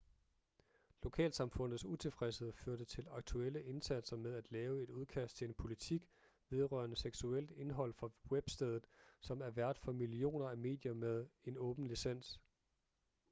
lokalsamfundets utilfredshed førte til aktuelle indsatser med at lave et udkast til en politik vedrørende seksuelt indhold for webstedet som er vært for millioner af medier med en åben licens